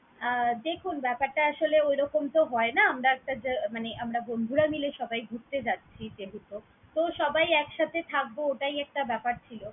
আহ দেখুন ব্যাপারটা আসলে ঐরকম তো হয়না আমরা একটা মানে আমরা বন্ধুরা মিলে সবাই ঘুরতে যাচ্ছি যেহেতু, তো সবাই একসাথে থাকবো ওটাই একটা ব্যাপার ছিলো।